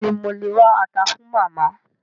Béèni mo lè wá ata fun Màmá